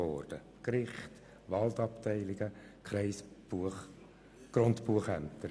Dies betraf Gerichte, Waldabteilungen und Grundbuchämter.